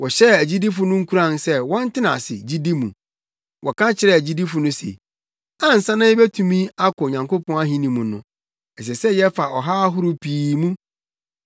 Wɔhyɛɛ agyidifo no nkuran sɛ wɔntena ase gyidi mu. Wɔka kyerɛɛ agyidifo yi se, “Ansa na yebetumi akɔ Onyankopɔn ahenni mu no, ɛsɛ sɛ yɛfa ɔhaw ahorow pii mu.”